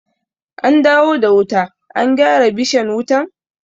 An dawo da wuta, an gyara bishan wutan?